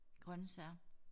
Grøntsager